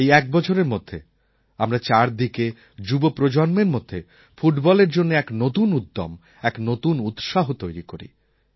এই এক বছরের মধ্যে আমরা চারদিকে যুবপ্রজন্মের মধ্যে ফুটবলের জন্য এক নতুন উদ্যম এক নতুন উৎসাহ তৈরি করি